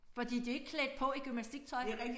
Fordi de jo ikke klædt på i gymnastiktøj